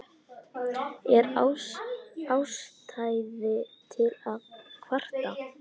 Er ástæða til að kvarta?